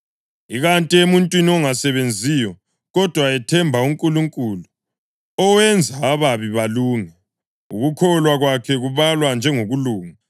Ikanti emuntwini ongasebenziyo kodwa ethemba uNkulunkulu owenza ababi balunge, ukukholwa kwakhe kubalwa njengokulunga.